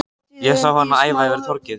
Ég sá hana æða yfir torgið.